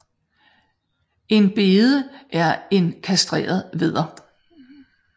En bede er en kastreret vædder